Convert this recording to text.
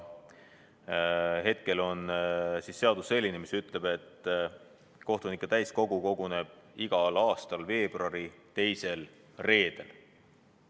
Hetkel on seadus selline, mis ütleb, et kohtunike täiskogu koguneb igal aastal veebruari teisel reedel.